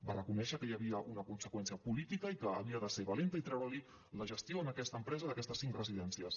va reconèixer que hi havia una conseqüència política i que havia de ser valenta i treure li la gestió a aquesta empresa d’aquestes cinc residències